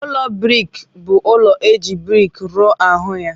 Ụlọ briks bu ụlọ eji briks rụọ ahu ya.